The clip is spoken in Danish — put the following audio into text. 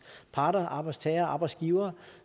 parter arbejdstagere og arbejdsgivere